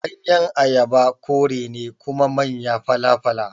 Ganyen Ayaba kore ne kuma manya fala-fala.